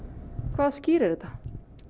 hvað skýrir þetta